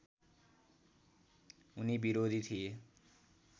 उनी विरोधी थिए